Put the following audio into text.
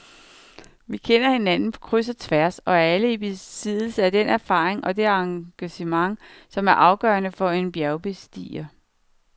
Vi kender hinanden på kryds og tværs og er alle i besiddelse af den erfaring og det engagement, som er afgørende for en bjergbestiger.